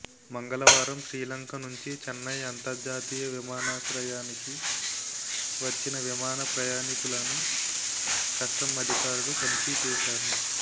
మంగళవారం శ్రీలంక నుం చి చెన్నై అంతర్జాతీయ విమానాశ్రయానికి వచ్చిన విమాన ప్రయాణికులను కస్టమ్స్ అధికారులు తనిఖీ చేశారు